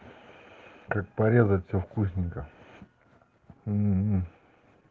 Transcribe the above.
как порезать все вкусненько ммм